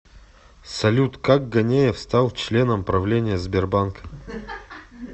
салют как ганеев стал членом правления сбербанка